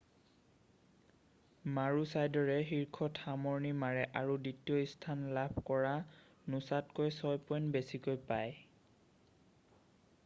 মাৰুচাইডৰে শীৰ্ষত সামৰণি মাৰে আৰু দ্বিতীয় স্থান লাভ কৰা নোছাতকৈ ছয় পইণ্ট বেছিকৈ পায়